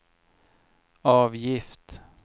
avgift